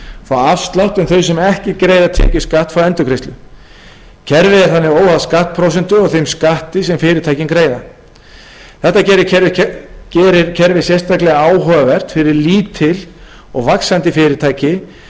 fá afslátt en þau sem ekki greiða tekjuskatt fá endurgreiðslu kerfið er þannig óháð skattprósentu og þeim skatti sem fyrirtækin greiða þetta gerir kerfið sérstaklega áhugavert fyrir lítil og vaxandi fyrirtæki